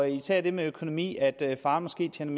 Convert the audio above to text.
især det med økonomi altså at faren måske tjener